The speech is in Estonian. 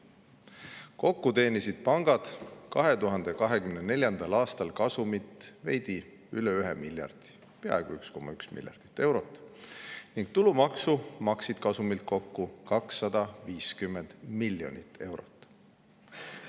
Kokku teenisid pangad 2024. aastal kasumit veidi üle 1 miljardi, peaaegu 1,1 miljardit eurot, ning tulumaksu maksid kasumilt kokku 250 miljonit eurot.